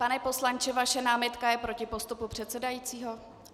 Pane poslanče, vaše námitka je proti postupu předsedajícího?